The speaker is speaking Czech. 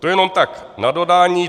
To jenom tak na dodání.